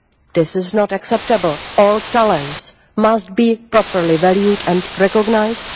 This is not acceptable all talents must be properly valued and recognised